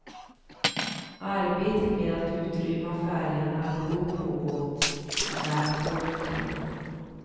Arbetet med att utrymma färjan hade då pågått i nära tolv timmar.